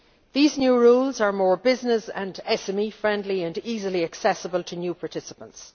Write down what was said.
These new rules are more business and SME friendly and easily accessible to new participants.